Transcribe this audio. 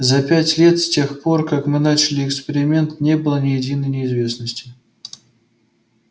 за пять лет с тех пор как мы начали эксперимент не было ни единой неизвесности